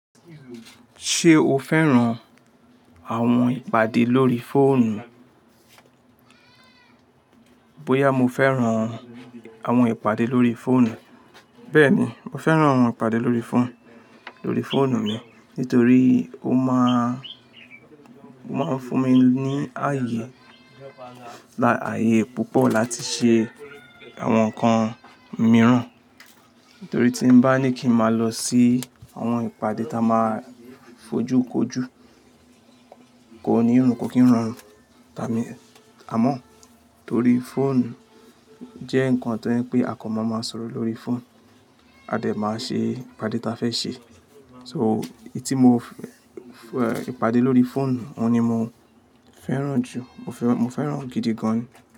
Ṣé o fẹ́ràn àwọn ìpàdé lórí fóònù? Bóyá mo fẹ́ràn àwọn ìpàdé lórí fóònù. Bẹ́ẹ̀ni, mo fẹ́ràn àwọn ìpàdé lórí fóònù, lórí fóònù mi nítorí ó máa ń, ó máa ń fún mi ní ààyè, aàyè púpọ̀ láti ṣe àwọn nǹkan mìíràn. Nítorí tí bá ní kí n máa lọ sí àwọn ìpàdé ta máa fojú kojú, kò ní run, kò kí ń rorun. Àmọ́ torí fóònù jẹ́ nǹkan tó jepẹ́, àkan máa ma sọ̀rọ̀ lórí fóònù, a dẹ̀ máa ṣe ìpàdé ta a fẹ́ ṣe. So, etí mo fẹ́ ìpàdé lórí fóònù, òun ni mo fẹ́ràn jù, mo fẹ́ràn, mo fẹ́ràn gidi gan.